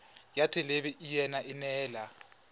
ya thelebi ene e neela